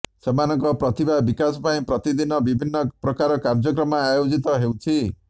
ସେମାନଙ୍କ ପ୍ରତିଭା ବିକାଶ ପାଇଁ ପ୍ରତିଦିନ ବିଭିନ୍ନ ପ୍ରକାର କାର୍ଯ୍ୟକ୍ରମ ଆୟୋଜିତ ହେଉଛି